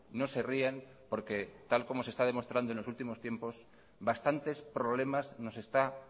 no se rían porque tal como se está demostrando en los últimos tiempos bastantes problemas nos está